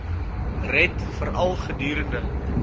red veral gedurende